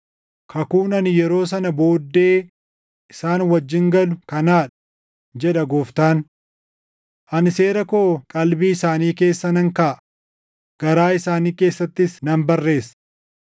“Kakuun ani yeroo sana booddee isaan wajjin galu kanaa dha, jedha Gooftaan. Ani seera koo qalbii isaanii keessa nan kaaʼa; garaa isaanii keessattis nan barreessa.” + 10:16 \+xt Erm 31:33\+xt*